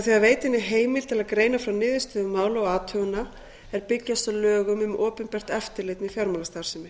að veita henni heimild til að greina frá niðurstöðum mála og athugana er byggjast á lögum um opinbert eftirlit með fjármálastarfsemi